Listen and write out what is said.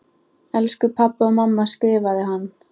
Elsku pabbi og mamma skrifaði hann.